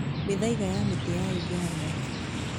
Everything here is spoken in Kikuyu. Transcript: Mĩthaiga ya mĩtĩ ya Uganda